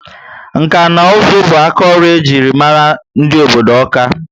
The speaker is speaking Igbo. Nka na uzu bu aka ọrụ ejiri mara obodo Ọka ( Awka)